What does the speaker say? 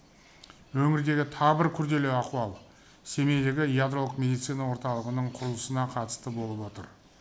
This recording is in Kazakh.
өңірдегі тағы бір күрделі ахуал семейдегі ядролық медицина орталығының құрылысына қатысты болып отыр